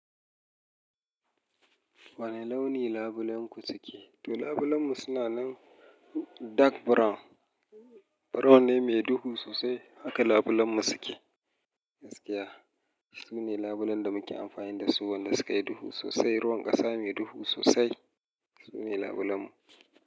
Wane launi labulenku suke? To labulenmu suna nan dark brown. Brown ne mai duhu sosai haka labulenmu suke. Gaskiya, su ne labulen da muke amfani da su, wanda sukayi duhu sosai. Ruwan ƙasa mai duhu sosai, su ne labulenmu.